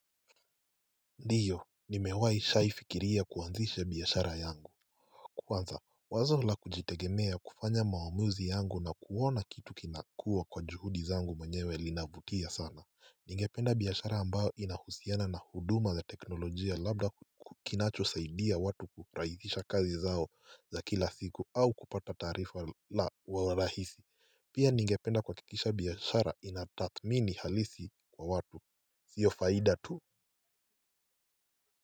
Ndio nimewai shai fikiria kuanzisha biashara yangu Kwanza wazo la kujitegemea kufanya mawa amuzi yangu na kuona kitu kinakua kwa juhudi zangu mweyewe linavutia sana. Ningependa biashara ambayo inahusiana na huduma za teknolojia labda kinachosaidia watu kurahisisha kazi zao za kila siku au kupata tarifa la uwarahisi Pia ningependa kuhakikisha biashara inataadhmini halisi kwa watu sio faida tu.